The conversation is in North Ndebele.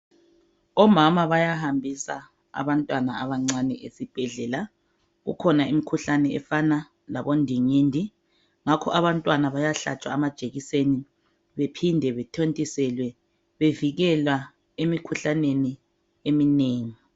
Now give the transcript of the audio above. Omama bayahambisa abantwana abancane esibhedlela kukhona imikhuhlane efana labo ndingindi. Ngakho abantwana bayahlatshwa amajekiseni bephinde bethontiselwe bevikelwa emikhuhlaneni eminengi.